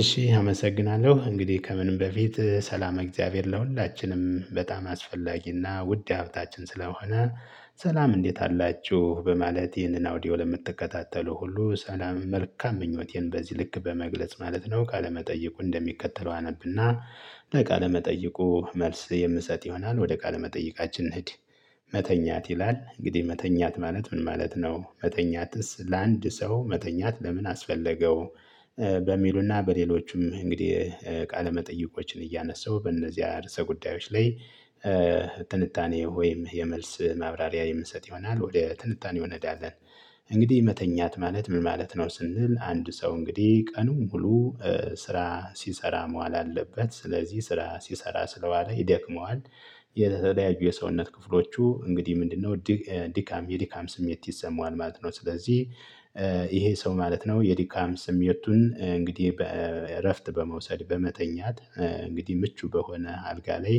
እሺ አመሰግናለሁ እንግዲህ ከምንም በፊት ሰላመ እግዚአብሔር ለሁላችንም በጣም አስፈላጊና ውድ ሀብታችን ስለሆነ። ሰላም እንዴት አላችሁ በማለት ይህንን አውዲዮ ለምትከታተሉ ሁሉ ሰላም መልካም ምኞቴን በዚህ ልክ በመግለጽ ማለት ነው። ካለመጠየቁ እንደሚከተለው አነብና ለቃለመጠየቁ መልስ የምሰጥ ይሆናል ወደ ቃለመጠይቃችን እንሂድ። መተኛት ይላል እንግዲህ መተኛት ማለት ምን ማለት ነው መተኛትስ ለአንድ ሰው መተኛት ለምን አስፈለገው? በሚሉና በሌሎችም እንግዲህ ቃለመጠይቆችን እያነሳሁ በእነዚያ ርዕሰ ጉዳዮች ላይ። ትንታኔ ወይም የመልስ ማብራሪያ የምንሰጥ ይሆናል ወደ ትንታኔው እንሄዳለን። እንግዲህ መተኛት ማለት ምን ማለት ነው? ስንል አንድ ሰው እንግዲህ ቀኑን ሙሉ ስራ ሲሰራ መዋል አለበት ስለዚህ ስራ ሲሰራ ስለዋለ ይደክመዋል። የተለያዩ የሰውነት ክፍሎቹ እንግዲህ ምንድነው? ድካም የድካም ስሜት ይሰማዋል ማለት ነው። ስለዚህ ይሄ ሰው ማለት ነው የዲካም ስሜቱን እንግዲህ በእረፍት በመውሰድ በመተኛት። እንግዲህ ምቹ በሆነ አልጋ ላይ።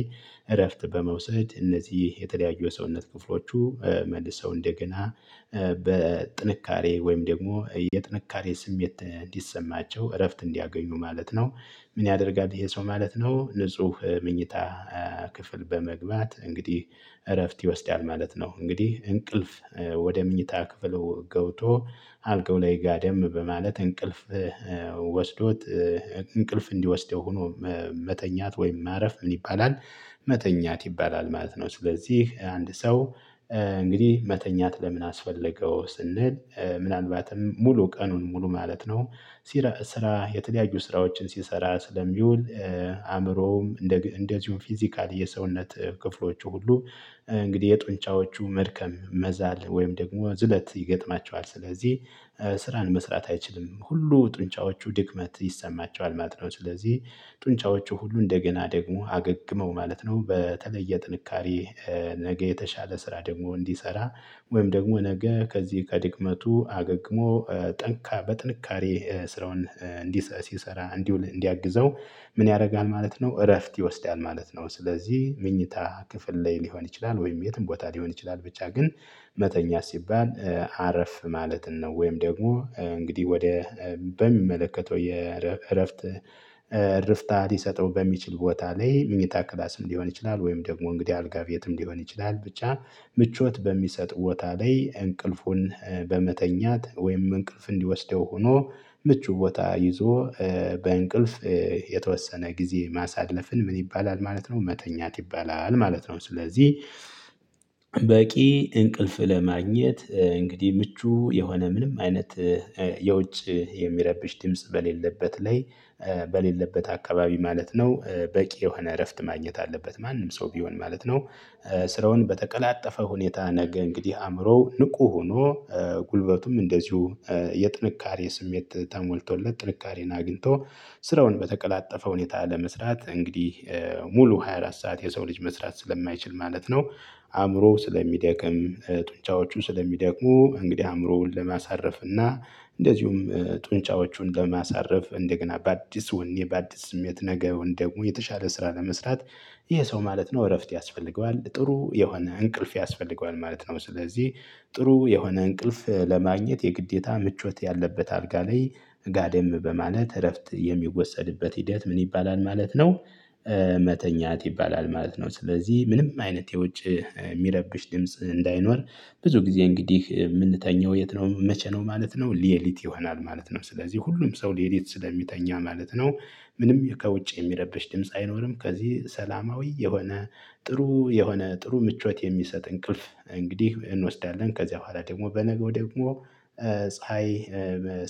እረፍት በመውሰድ እነዚህ የተለያዩ የሰውነት ክፍሎቹ መልሰው እንደገና በጥንካሬ ወይም ደግሞ የጥንካሬ ስሜት እንዲሰማቸው እረፍት እንዲያገኙ ማለት ነው። ምን ያደርጋል ይሄ ሰው ማለት ነው ንጹህ ምኝታ። ክፍል በመግባት እንግዲህ እረፍት ይወስዳል ማለት ነው። እንግዲህ እንቅልፍ ወደ ምኝታ ክፍል ገብቶ አልጋው ላይ ጋደም በማለት እንቅልፍ ወስዶት እንቅልፍ እንዲወስደው ሆኖ መተኛት ወይም ማረፍ ምን ይባላል? መተኛት ይባላል ማለት ነው። ስለዚህ አንድ ሰው እንግዲህ መተኛት ለምን አስፈለገው ስንል። ምናልባትም ሙሉ ቀኑን ሙሉ ማለት ነው። ስራ የተለያዩ ስራዎችን ሲሰራ ስለሚውል። አእምሮውም እንደዚሁም ፊዚካል የሰውነት ክፍሎቹ ሁሉ እንግዲህ የጡንጫዎቹ መድከም መዛል ወይም ደግሞ ዝለት ይገጥማቸዋል። ስለዚህ ስራን መስራት አይችልም ሁሉ ጡንጫዎቹ ድክመት ይሰማቸዋል ማለት ነው። ስለዚህ ጡንጫዎቹ ሁሉ እንደገና ደግሞ አገግመው ማለት ነው በተለየ ጥንካሬ። ነገ የተሻለ ስራ ደግሞ እንዲሰራ ወይም ደግሞ ነገ ከዚህ ከድክመቱ አገግሞ ጠንካ በጥንካሬ ስራውን እንዲ ሲሰራ እንዲውል እንዲያግዘው። ምን ያደርጋል ማለት ነው። እረፍት ይወስዳል ማለት ነው። ስለዚህ ምኝታ ክፍል ላይ ሊሆን ይችላል ወይም የትም ቦታ ሊሆን ይችላል ብቻ ግን መተኛት ሲባል አረፍ ማለትን ነው። ወይም ደግሞ እንግዲህ ወደ በሚመለከተው የእረፍት እረፍታ ሊሰጠው በሚችል ቦታ ላይ ምኝታ ክላስም ሊሆን ይችላል። ወይም ደግሞ እንግዲህ አልጋ ቤትም ሊሆን ይችላል። ብቻ ምቾት በሚሰጥ ቦታ ላይ እንቅልፉን በመተኛት ወይም እንቅልፍ እንዲወስደው ሆኖ። ምቹ ቦታ ይዞ። በእንቅልፍ የተወሰነ ጊዜ ማሳለፍን ምን ይባላል ማለት ነው? መተኛት ይባላል ማለት ነው። ስለዚህ በቂ እንቅልፍ ለማግኘት እንግዲህ ምቹ የሆነ ምንም አይነት የውጭ የሚያረብሽ ድምጽ በሌለበት ላይ በሌለበት አካባቢ ማለት ነው። በቂ የሆነ እረፍት ማግኘት አለበት ማንም ሰው ቢሆን ማለት ነው። ስራውን በተቀላጠፈ ሁኔታ ነገ እንግዲህ አእምሮው ንቁ ሆኖ ጉልበቱም እንደዚሁ የጥንካሬ ስሜት ተሞልቶለት ጥልቃሬን አግኝቶ ስራውን በተቀላጠፈ ሁኔታ ለመስራት እንግዲህ ሙሉ ሃያ አራት ሰዓት የሰው ልጅ መስራት ስለማይችል ማለት ነው። አእምሮው ስለሚደክም ጡንቻዎቹ ስለሚደክሙ እንግዲህ አእምሮውን ለማሳረፍ እና እንደዚሁም ጡንጫዎቹን ለማሳረፍ እንደገና በአዲስ ወኔ በአዲስ ስሜት ነገውን ደግሞ የተሻለ ስራ ለመስራት። ይሄ ሰው ማለት ነው እረፍት ያስፈልገዋል ጥሩ የሆነ እንቅልፍ ያስፈልገዋል ማለት ነው። ስለዚህ ጥሩ የሆነ እንቅልፍ ለማግኘት የግዴታ ምቾት ያለበት አልጋ ላይ። ጋደም በማለት እረፍት የሚወሰድበት ሂደት ምን ይባላል? ማለት ነው መተኛት ይባላል ማለት ነው። ስለዚህ ምንም አይነት የውጭ የሚረብሽ ድምጽ እንዳይኖር ብዙ ጊዜ እንግዲህ የምንተኛው የት ነው? መቼ ነው? ማለት ነው ሌሊት ይሆናል ማለት ነው ስለዚህ ሁሉም ሰው ሌሊት ስለሚተኛ ማለት ነው። ምንም ከውጭ የሚረብሽ ድምጽ አይኖርም ከዚህ ሰላማዊ የሆነ ጥሩ የሆነ ጥሩ ምቾት የሚሰጥ እንቅልፍ። እንግዲህ እንወስዳለን ከዚያ በኋላ ደግሞ በነገው ደግሞ ፀሀይ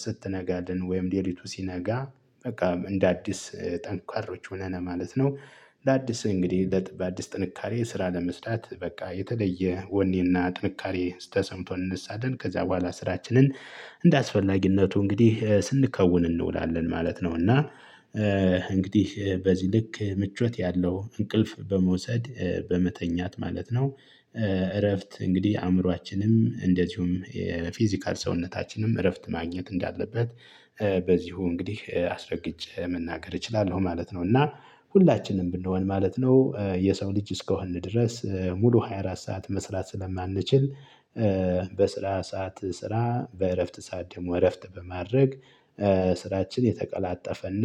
ስትነጋልን ወይም ሌሊቱ ሲነጋ በቃ እንደ አዲስ ጠንካሮች ሆነን ማለት ነው። አዲስ እንግዲህ በአዲስ ጥንካሬ ስራ ለመስራት በቃ የተለየ ወኔና ጥንካሬ ተሰምቶን እንነሳለን ከዚያ በኋላ ስራችንን። እንደ አስፈላጊነቱ እንግዲህ ስንከውን እንውላለን ማለት ነው። እና እንግዲህ በዚህ ልክ ምቾት ያለው እንቅልፍ በመውሰድ በመተኛት ማለት ነው። እረፍት እንግዲህ አእምሮአችንም እንደዚሁም የፊዚካል ሰውነታችንም እረፍት ማግኘት እንዳለበት። በዚሁ እንግዲህ አስረግጬ መናገር እችላለሁ ማለት ነው። እና ሁላችንም ብንሆን ማለት ነው። የሰው ልጅ እስከሆንነ ድረስ ሙሉ ሃያ አራት ሰዓት መስራት ስለማንችል በስራ ሰዓት ስራ በእረፍት ሰዓት ደግሞ እረፍት በማድረግ። ስራችን የተቀላጠፈና